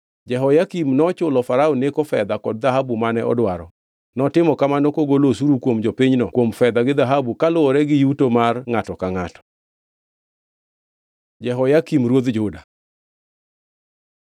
Jehoyakim nochulo Farao Neko fedha kod dhahabu mane odwaro. Notimo kamano kogolo osuru kuom jopinyno kuom fedha gi dhahabu kaluwore gi yuto mar ngʼato ka ngʼato. Jehoyakim ruodh Juda